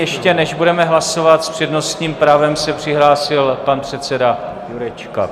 Ještě než nebudeme hlasovat, s přednostním právem s přihlásil pan předseda Jurečka.